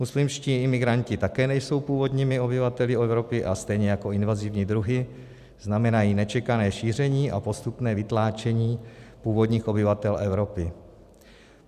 Muslimští imigranti také nejsou původními obyvateli Evropy a stejně jako invazivní druhy znamenají nečekané šíření a postupné vytlačení původních obyvatel Evropy.